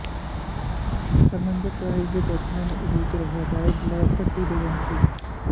ਹਰਿਮੰਦਰ ਸਾਹਿਬ ਦੇ ਦਰਸ਼ਨਾਂ ਨੂੰ ਉਡੀਕ ਰਹੇ ਰਾਏ ਬੁਲਾਰ ਭੱਟੀ ਦੇ ਵੰਸ਼ਜ